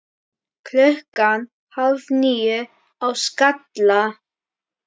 Klukkan hálf níu á Skalla!